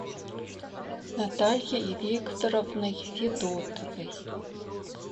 натальей викторовной федотовой